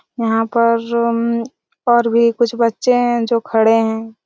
यहाँ पर उम्म्म और भी कुछ बच्चे हैं जो खड़े हैं।